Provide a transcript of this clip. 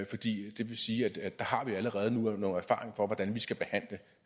fordi det vil sige at vi allerede nu har nogle erfaringer for hvordan vi skal behandle